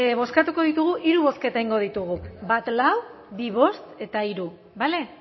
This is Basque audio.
bozkatuko ditugu hiru bozketa egingo ditugu bat lau bi bost eta hiru bale